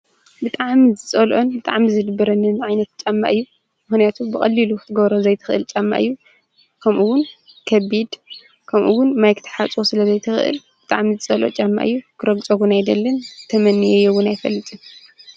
ብዓም ዝጸልዑን ብጥዓም ዝድብረኒን ዓይነት ጨማእዩ ምህነቱ ብቐልልኽትጐሮ ዘይትኽእል ጨማ እዩ ከምኡውን ከቢድ ከምኡውን ማይ ክታሓፅቦ ስለዘይትኽእል ብጥዓም ዝጸሎኦ ጫማ እዩ ክረግጾጕን ኣይደልን ተመኒየየውን ኣይፈልጥን።